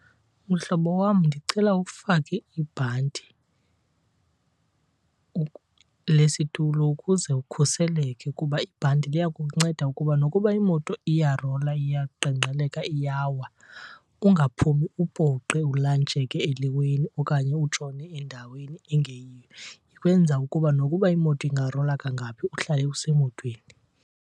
Mhlobo wam, ndicela ufake ibhanti lesitulo ukuze ukhuseleke kuba ibhanti liya kukunceda ukuba nokuba imoto iyarola iyaqengqeleka iyawa ungaphumi upoqe ulantsheke eliweni okanye utshone endaweni engeyiyo. Ikwenza ukuba nokuba imoto ingarola kangaphi uhlale usemotweni.